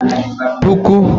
puku